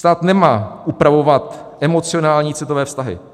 Stát nemá upravovat emocionální citové vztahy.